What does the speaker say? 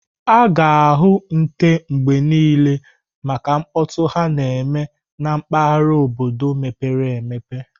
A ga-ahụ nte mgbe niile maka mkpọtụ ha na-eme na mpaghara obodo mepere emepe.